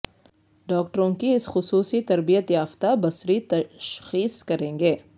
ڈاکٹروں کی اس خصوصی تربیت یافتہ بصری تشخیص کریں گے